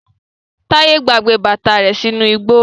Taye gbàgbé bàtà rẹ sínú igbó.